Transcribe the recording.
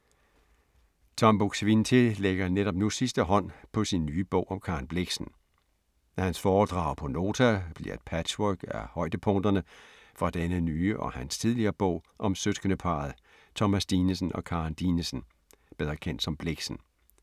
Tom Buk-Swienty lægger netop nu sidste hånd på sin nye bog om Karen Blixen. Hans foredrag på Nota, bliver et patchwork af højdepunkterne fra denne nye og hans tidligere bog om søskendeparret Thomas Dinesen og Karen Dinesen, bedre kendt som Blixen.